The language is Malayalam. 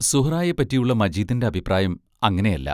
സുഹ്റായെപ്പറ്റിയുള്ള മജീദിന്റെ അഭിപ്രായം അങ്ങനെയല്ല.